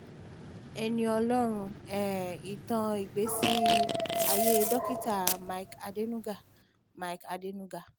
ẹni ọlọ́run um ìtàn ìgbésí ayé dókítà mike àdènúgá mike àdènúgá